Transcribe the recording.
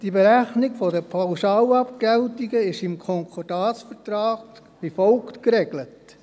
Die Berechnung der Pauschalabgeltungen ist im Konkordatsvertrag wie folgt geregelt: